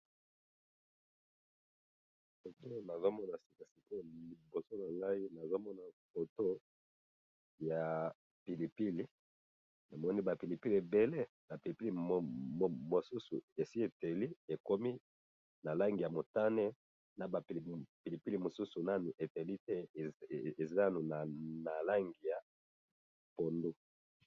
Photo nazomona sika sikoyo liboso na ngayi, nazomona photo ya pilipili. Namoni ba pilipili ebele, ba pilipili mosusu esi epeli ekomi na langi ya motane, na ba pilipili mosusu Nanu epeli te, eza na langi ya pondu.